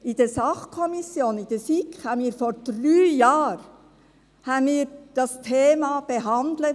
In der Sachkommission, der SiK, behandelten wir dieses Thema vor drei Jahren.